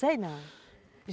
Sei não.